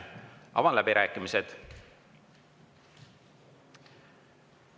Avan läbirääkimised.